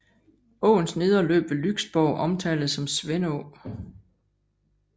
Åens nedre løb ved Lyksborg omtales som Svendå